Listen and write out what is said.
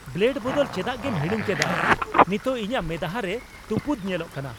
Blade ᱵᱚᱫᱚᱞ ᱪᱮᱫᱟᱜᱮᱢ ᱦᱤᱲᱤᱧ ᱠᱮᱰᱟ ? ᱱᱤᱛᱚᱜ ᱤᱧᱟᱜ ᱢᱮᱫᱦᱟ ᱨᱮ ᱛᱩᱯᱩᱫ ᱧᱮᱞᱚᱜ ᱠᱟᱱᱟ !